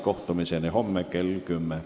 Kohtumiseni homme kell 10.